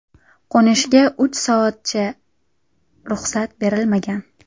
Qo‘nishga uch soatgacha ruxsat berilmagan.